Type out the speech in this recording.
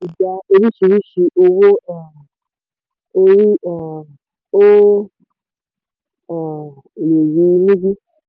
ti gbà orísìírísìí owó um orí; um o um lè rí i níbí.